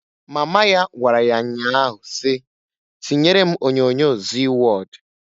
Mama ya gwara ya nnya ahụ si, "Tinyere m onyoonyo Zii Wọd!"